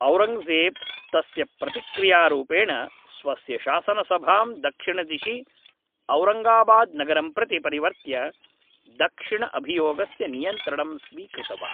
औरङ्ग्जेब् तस्य प्रतिक्रियारूपेण स्वस्य शासनसभां दक्षिणदिशि औरङ्गाबाद् नगरं प्रति परिवर्त्य दक्षिणअभियोगस्य नियन्त्रणं स्वीकृतवान्